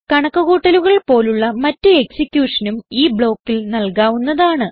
കണക്ക് കൂട്ടലുകൾ പോലുള്ള മറ്റ് എക്സിക്യൂഷനും ഈ ബ്ലോക്കിൽ നൽകാവുന്നതാണ്